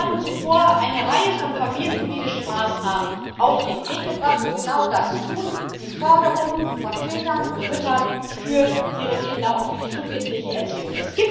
Sie hatten zuvor eine Reihe von familienpolitischen Maßnahmen auf den Weg gebracht, die genau das tun die Förderung von Vätern und Müttern für ihre Kinder und für die frühkindliche Erziehung.